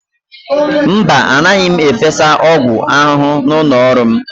Mba, anaghị m efesa ọgwụ ahụhụ n'ụlọ ọrụ m.